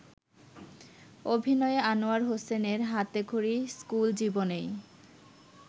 অভিনয়ে আনোয়ার হোসেনের হাতেখড়ি স্কুল জীবনেই।